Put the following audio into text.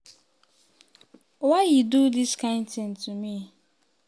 why e do dis kain tin to me?"